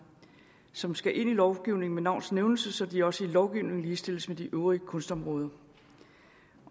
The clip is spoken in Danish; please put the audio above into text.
som skal ind i lovgivningen med navns nævnelse så de også i lovgivningen ligestilles med de øvrige kunstområder